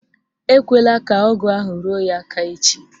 Ekwela ka ọgụ ahụ ruo ya aka echi